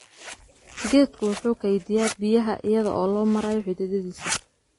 Geedku wuxuu kaydiyaa biyaha iyada oo loo marayo xididdadiisa.